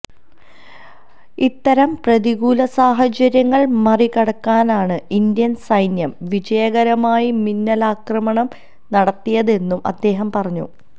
ഇത്തരം പ്രതികൂല സാഹചര്യങ്ങള് മറികടന്നാണ് ഇന്ത്യന് സൈന്യം വിജയകരമായി മിന്നലാക്രമണം നടത്തിയതെന്നും അദ്ദേഹം പറഞ്ഞു